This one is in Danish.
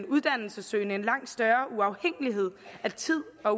uddannelsessøgende en langt større uafhængighed af tid og